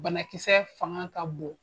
Banakisɛ fanga ka bon.